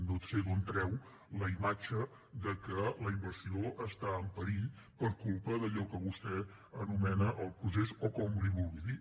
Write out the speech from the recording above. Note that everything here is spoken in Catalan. no sé d’on treu la imatge de que la inversió està en perill per culpa d’allò que vostè anomena el procés o com en vulgui dir